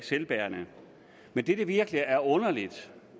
selvbærende men det der virkelig er underligt